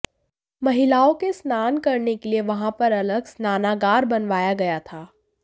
महिलाओं के स्नान करने के लिए वहां पर अलग स्नानागार बनवाया गया था